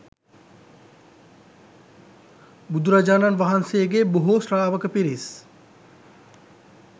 බුදුරජාණන් වහන්සේගේ බොහෝ ශ්‍රාවක පිරිස්